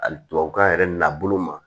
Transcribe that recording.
Ali tubabukan yɛrɛ n'a bolo ma